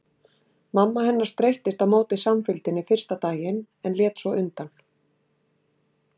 Mamma hennar streittist á móti samfylgdinni fyrsta daginn en lét svo undan.